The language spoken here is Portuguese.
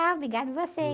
Ah, obrigado você.